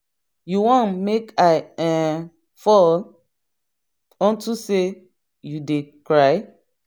you wan make i um fall unto say you dey cry.